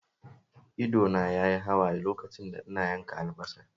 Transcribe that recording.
Ido na yayi hawaye lokacin da ina yanka albasar